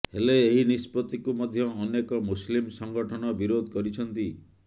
ହେଲେ ଏହି ନିଷ୍ପତ୍ତିକୁ ମଧ୍ୟ ଅନେକ ମୁସଲିମ ସଂଗଠନ ବିରୋଧ କରିଛନ୍ତି